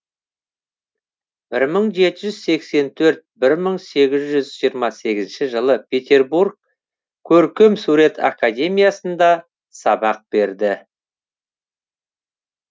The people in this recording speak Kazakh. бір мың жеті жүз сексен төрт бір мың сегіз жүз жиырма сегізінші жылы петербург көркемсурет академиясында сабақ берді